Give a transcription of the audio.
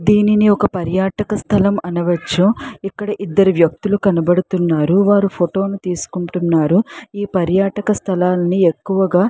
దీనిని ఒక పరియటక స్థలం అనవచ్చు ఇక్కడ ఇద్దరు వ్యక్తులు కనబడుతున్నారు వారు ఫోటో ని తీసుకుంటున్నారు ఇ పరియటక స్థలాన్ని ఎక్కువగా --